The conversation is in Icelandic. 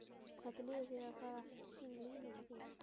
Hvernig líður þér að vera fara sýna línuna þína?